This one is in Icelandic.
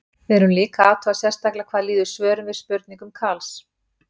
Við erum líka að athuga sérstaklega hvað líður svörum við spurningum Karls.